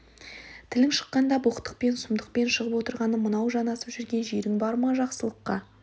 тілің шыққанда боқтықпен сұмдықпен шығып отырғаны мынау жанасып көрген жерің бар ма жақсылыққа